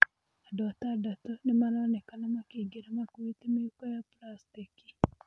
Andũatatatũnĩmaronekana makĩingïra makuite mĩhuko ya buracitĩki.